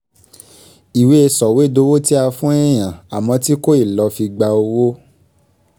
ìwé sọ̀wédowó tí a fún èèyàn àmọ́ tí kòì lọ fi gba owó